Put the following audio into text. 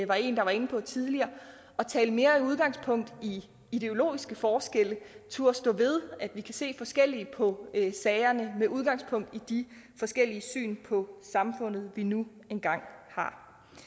var en der var inde på tidligere at tage mere udgangspunkt i ideologiske forskelle turde stå ved at vi kan se forskelligt på sagerne med udgangspunkt i de forskellige syn på samfundet vi nu engang har